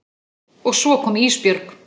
Og svo kom Ísbjörg.